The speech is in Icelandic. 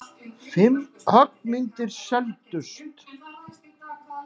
Fimm höggmyndir seldust.